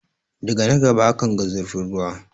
Daga na gaba akanga zurfin ruwa.